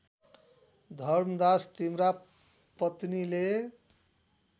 धर्मदास तिम्रा पत्नीले